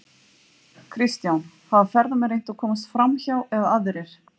Kristján: Hafa ferðamenn reynt að komast framhjá eða aðrir?